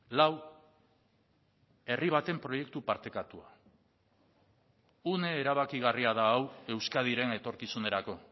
lau herri baten proiektu partekatua une erabakigarria da hau euskadiren etorkizunerako